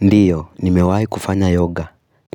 Ndiyo, nimewahi kufanya yoga,